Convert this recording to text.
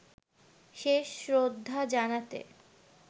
শেষ শ্রদ্ধা জানাতে